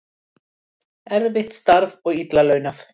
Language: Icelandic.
Erfitt starf og illa launað